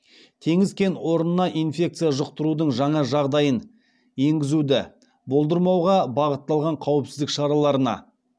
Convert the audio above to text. теңіз кен орнына инфекция жұқтырудың жаңа жағдайын енгізуді болдырмауға бағытталған қауіпсіздік шараларына